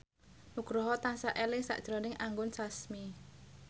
Nugroho tansah eling sakjroning Anggun Sasmi